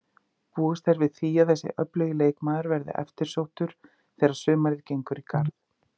Búist er við því að þessi öflugi leikmaður verði eftirsóttur þegar sumarið gengur í garð.